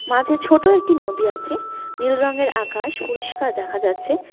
মাঝে ছোট একটি নদী আছে নীল রঙের আকাশ পরিষ্কার দেখা যাচ্ছে।